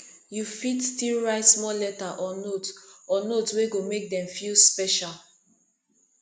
yu fit stil write small letter or note or note wey go mek dem feel special